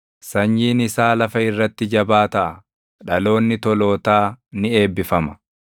Sanyiin isaa lafa irratti jabaa taʼa; dhaloonni tolootaa ni eebbifama.